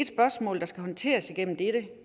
spørgsmål der skal håndteres gennem dette